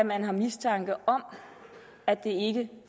man har mistanke om at det ikke